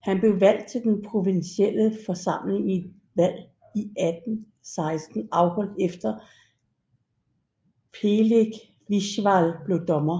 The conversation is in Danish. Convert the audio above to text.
Han blev valgt til den provinsielle forsamling i et valg i 1816 afholdt efter Peleg Wiswall blev dommer